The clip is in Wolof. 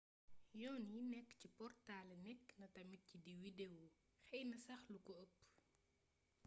yoon yi nékk ci portalé nékk na tamit ci di widewo xeeyna sax luko eepp